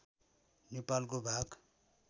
नेपालको भाग